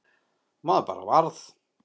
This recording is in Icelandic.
Maður bara varð